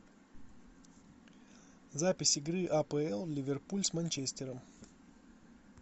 запись игры апл ливерпуль с манчестером